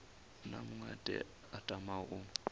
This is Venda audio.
na muṅwe a tamaho u